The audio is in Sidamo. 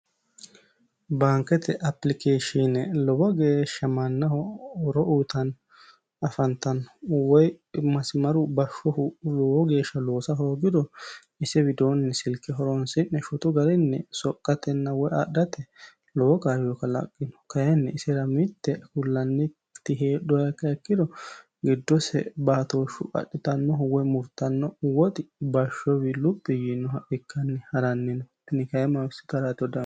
Baanikete aplikeeshine lowo geesha mannaho horo uyitanno afanittanno woyi masimaru bashohu lowo geesha loosa hoogiro ise widooni silike horonisi'ne shotu garinni soqqatena woy adhate lowo kaayo kalaqqino kayinni isera mitte kullanitti hedhuha ikkiha ikkiro giddose baatoshu adhitannohu woy murittano woxi bashowii luphi yiinoha ikkanni haranni no tini kay maasitarratiro danifoy.